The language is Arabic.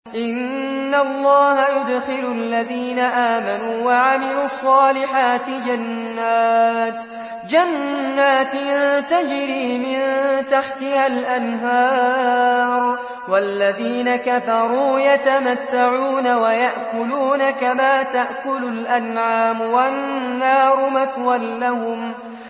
إِنَّ اللَّهَ يُدْخِلُ الَّذِينَ آمَنُوا وَعَمِلُوا الصَّالِحَاتِ جَنَّاتٍ تَجْرِي مِن تَحْتِهَا الْأَنْهَارُ ۖ وَالَّذِينَ كَفَرُوا يَتَمَتَّعُونَ وَيَأْكُلُونَ كَمَا تَأْكُلُ الْأَنْعَامُ وَالنَّارُ مَثْوًى لَّهُمْ